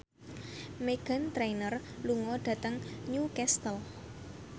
Meghan Trainor lunga dhateng Newcastle